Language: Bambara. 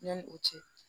Yanni o cɛ